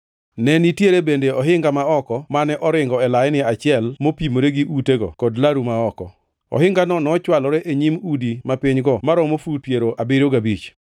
Ne nitie bende ohinga ma oko mane oringo e laini achiel mopimore gi utego kod laru ma oko; ohingano nochwalore e nyim udi mapinygo maromo fut piero abiriyo gabich.